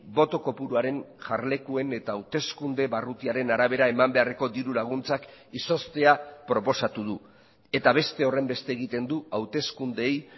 boto kopuruaren jarlekuen eta hauteskunde barrutiaren arabera eman beharreko diru laguntzak izoztea proposatu du eta beste horrenbeste egiten du hauteskundeei